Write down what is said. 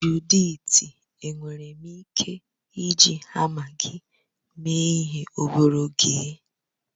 Juditi enwere m ike iji hama gị mee ihe obere oge?